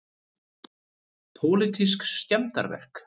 Pólitísk skemmdarverk